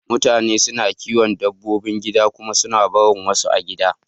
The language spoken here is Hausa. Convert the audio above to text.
Mutane suna kiyon dabbobi gida kuma suna barin wasu a gida.